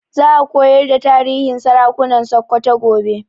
Za a koyar da tarihin sarakunan Sokoto gobe